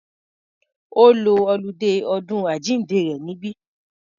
Ó lo oludé ọdún àjíǹde rẹ̀ níbí.